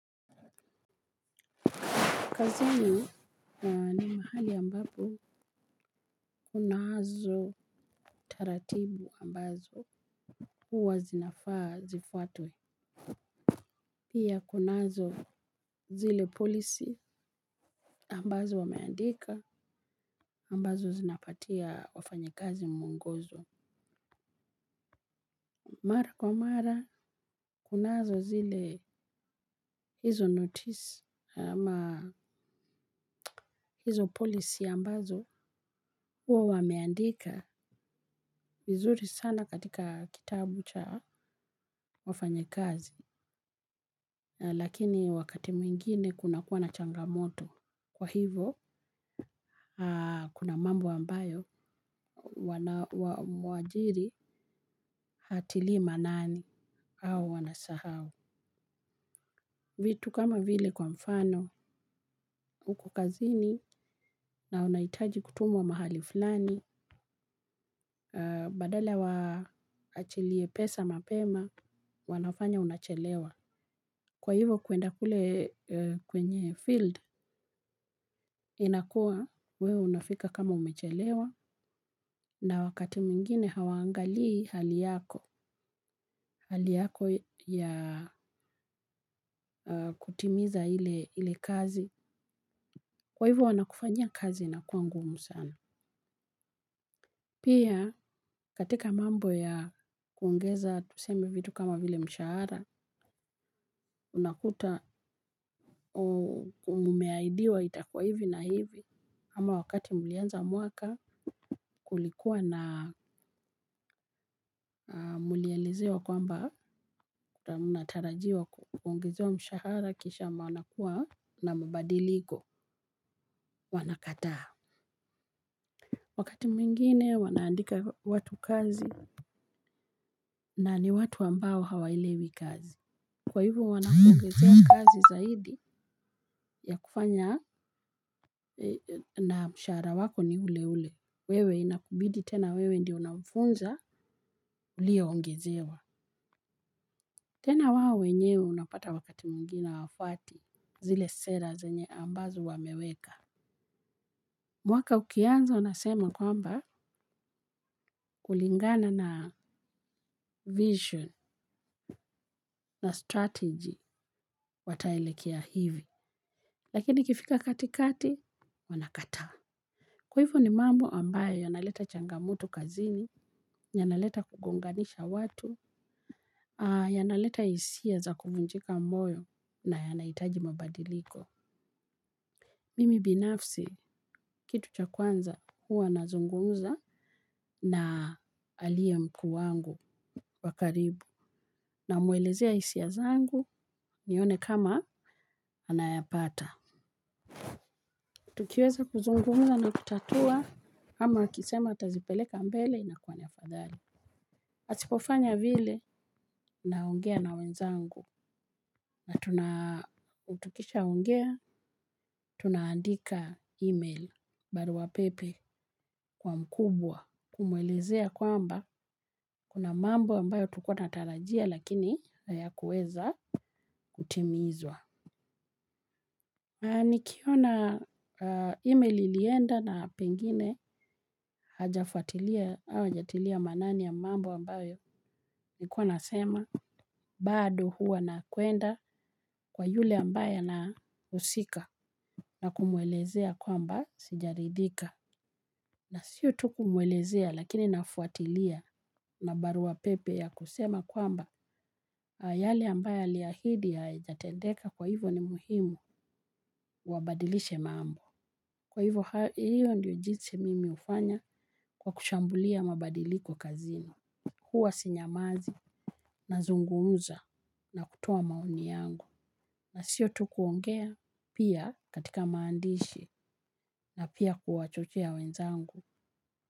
Kazini ni mahali ambapo kunazo taratibu ambazo huwa zinafaa zifuatwe. Pia kunazo zile policy ambazo wameandika ambazo zinapatia wafanyakazi mwongozo. Mara kwa mara kunazo zile izo notice ama izo policy ambazo uwa wameandika. Vizuri sana katika kitabu cha wafanyakazi, lakini wakati mwingine kuna kuwa na changamoto. Kwa hivo, kuna mambo ambayo mwajiri hatilii manani au wanasahau. Vitu kama vile kwa mfano, uko kazini na unaitaji kutumwa mahali fulani, badala waachilie pesa mapema, wanafanya unachelewa. Kwa hivyo kuenda kule kwenye field inakuwa wewe unafika kama umechelewa na wakati mwingine hawaangali hali yako ya kutimiza ile kazi. Kwa hivyo wanakufanyia kazi inakuwa ngumu sana. Pia katika mambo ya kuongeza tuseme vitu kama vile mshahara unakuta umeaidiwa itakuwa hivi na hivi ama wakati mlianza mwaka kulikuwa na mlializewa kwamba mnatarajiwa kuongezewa mshahara kisha manakuwa na mabadiliko wanakataa. Wakati mwingine wanaandika watu kazi na ni watu ambao hawaelewi kazi. Kwa hivo wanakuongezea kazi zaidi, ya kufanya, na mshahara wako ni ule ule. Wewe inakubidi tena wewe ndio unamfunza, uliyeongezewa. Tena wao wenyewe unapata wakati mwingine hawafuati, zile sera zenye ambazo wameweka. Mwaka ukianza wanasema kwamba kulingana na vision na strategy wataelekea hivi. Lakini ikifika katikati wanakataa. Kwa hivyo ni mambo ambayo yanaleta changamoto kazini, yanaleta kugonganisha watu, yanaleta isia za kuvunjika moyo na yanaitaji mabadiliko. Mimi binafsi kitu cha kwanza huwa nazungumza na aliye mkuu wangu wa karibu namuelezea isia zangu nione kama anayapata. Tukiweza kuzungumza na kutatua ama akisema atazipeleka mbele inakuwa ni afadhali. Asipofanya vile, naongea na wenzangu, na tukishaongea, tunaandika email baruwa pepe kwa mkubwa kumwelezea kwamba kuna mambo ambayo tukuwa natarajia lakini hayakuweza kutimizwa. Na nikiona email lilienda na pengine hajafuatilia au ajatilia manani ya mambo ambayo nikuwa nasema bado huwa nakwenda kwa yule ambayo ana husika na kumwelezea kwamba sijaridhika. Na sio tu kumwelezea lakini nafuatilia na barua pepe ya kusema kwamba yale ambayo aliahidi haijatendeka kwa hivo ni muhimu wabadilishe mambo. Kwa hivyo hiyo ndiyo jinsi mimi ufanya kwa kushambulia mabadiliko kazini. Huwa sinyamazi nazungumuza na kutoa maoni yangu. Na sio tu kuongea pia katika maandishi na pia kuwachochea wenzangu.